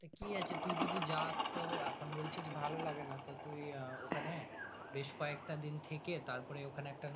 তো কি আছে তুই যদি যাস তো এখন বলছি ভালো লাগে না তো তুই আহ ওখানে বেশ ক একটা দিন থেকে তার পরে